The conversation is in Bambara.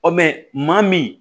Ɔ mɛn maa min